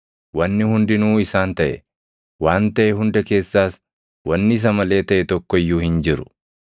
Wanni hundinuu isaan taʼe; waan taʼe hunda keessaas wanni isa malee taʼe tokko iyyuu hin jiru.